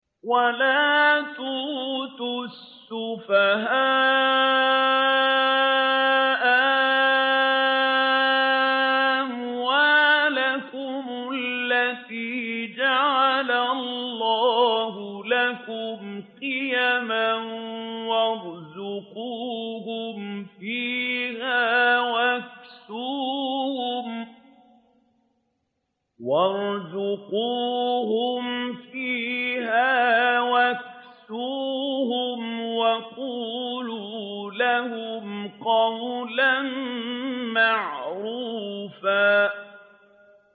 وَلَا تُؤْتُوا السُّفَهَاءَ أَمْوَالَكُمُ الَّتِي جَعَلَ اللَّهُ لَكُمْ قِيَامًا وَارْزُقُوهُمْ فِيهَا وَاكْسُوهُمْ وَقُولُوا لَهُمْ قَوْلًا مَّعْرُوفًا